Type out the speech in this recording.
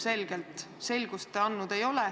Selgust te ilmselgelt andnud ei ole.